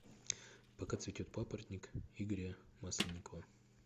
пока цветет папоротник игоря масленникова